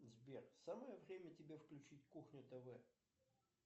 сбер самое время тебе включить кухня тв